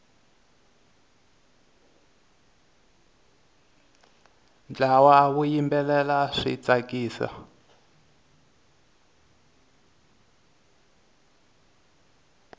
ntlawa wu yimbelela swi tsakisa